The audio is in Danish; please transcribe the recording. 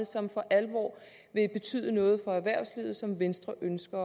som for alvor vil betyde noget for erhvervslivet og som venstre ønsker